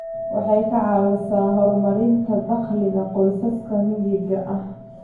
Waxay ka caawisaa horumarinta dakhliga qoysaska miyiga ah.